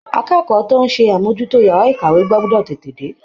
Akẹ́kọ̀ọ́ tó ń ṣe àmójútó yàrá ìkàwé gbọ́dọ̀ tètè dé